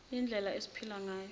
yindlela esiphila ngayo